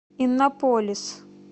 иннополис